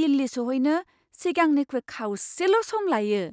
दिल्ली सौहैनो सिगांनिख्रुइ खावसेल' सम लायो!